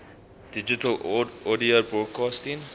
digital audio broadcasting